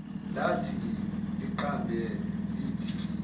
lathi liqambe lithi